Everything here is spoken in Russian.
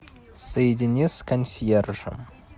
соедини с консьержем